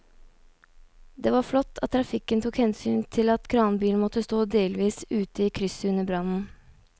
Det var flott at trafikken tok hensyn til at kranbilen måtte stå delvis ute i krysset under brannen.